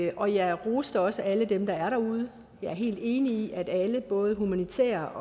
og jeg roste også alle dem der er derude jeg er helt enig i at alle både humanitært